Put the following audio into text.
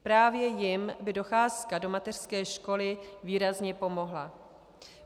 Právě jim by docházka do mateřské školy výrazně pomohla.